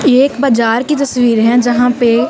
ये एक बाजार की तस्वीर है जहां पे--